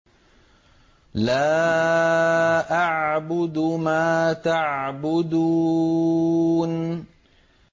لَا أَعْبُدُ مَا تَعْبُدُونَ